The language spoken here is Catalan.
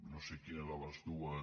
no sé quina de les dues